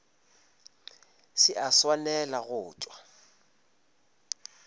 se a swanela go tšwa